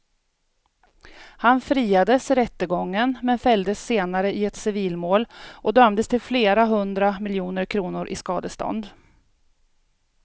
Han friades i rättegången men fälldes senare i ett civilmål och dömdes till flera hundra miljoner kronor i skadestånd.